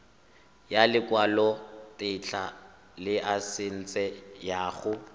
ya lekwalotetla laesense ya go